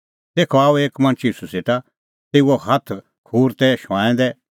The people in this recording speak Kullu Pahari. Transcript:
तेखअ आअ एक मणछ ईशू सेटा तेऊए हाथ खूर तै शुंआंऐं दै